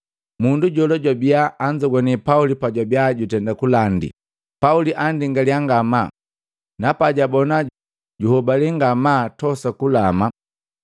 Mundu jola jwabia anzogwane Pauli pajwabia jutenda kulandi. Pauli andingalia ngama, na pajabona juhobale ngamaa tosa kulama,